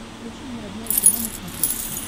включи мне родное кино на смотрешке